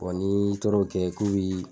Bɔn n'i tor'o kɛ k'u bi